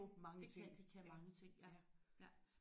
Det kan de kan mange ting ja ja